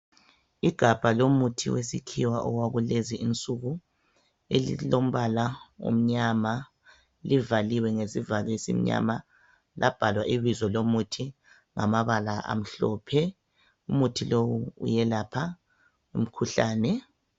Igabha lomuthi wesikhiwa owakulezinsuku elilombala omnyama livaliwe ngesivalo esimnyama labhalwa ibizo lomuthi ngamabala amhlophe umuthi lo uyelapha umkhuhlane